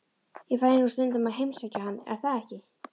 Ég fæ nú stundum að heimsækja hann, er það ekki?